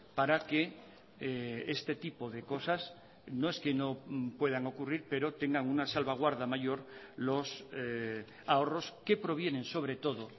para que este tipo de cosas no es que no puedan ocurrir pero tengan una salvaguarda mayor los ahorros que provienen sobre todo